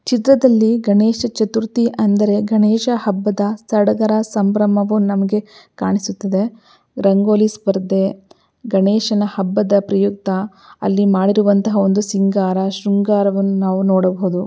ಚಿತ್ರದಲ್ಲಿ ಗಣೇಶ ಚತುರ್ಥಿ ಎಂದರೆ ಗಣೇಶ ಹಬ್ಬದ ಸಡಗರ ಸಾಂಬ್ರಮವು ನಮಗೆ ಕಾಣಿಸುತ್ತದೆ ರಂಗೋಲಿ ಸ್ಪರ್ಧೆ ಗಣೇಶ ಹಬ್ಬದ ಪ್ರಯುಕ್ತ ಅಲ್ಲಿ ಮಾಡಿರುವಂತ ಒಂದು ಸಿಂಗಾರ ಶೃಂಗಾರವನ್ನು ನಾವು ನೋಡಬಹುದು.